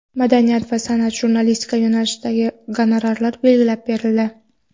Madaniyat, san’at va jurnalistika yo‘nalishida gonorarlar belgilab berildi.